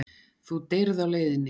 Þú deyrð á leiðinni.